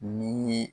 Ni